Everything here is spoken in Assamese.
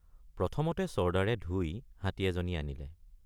প্ৰথমতে ছৰ্দাৰে ধুই হাতী এজনী আনিলে।